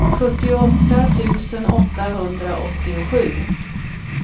sjuttioåtta tusen åttahundraåttiosju